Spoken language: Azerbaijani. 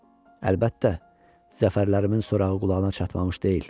Əlbəttə, zəfərlərimin sorağı qulağına çatmamış deyil.